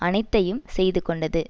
அனைத்தையும் செய்து கொண்டது